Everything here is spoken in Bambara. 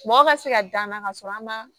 Mɔgɔ ka se ka dan ka sɔrɔ an ma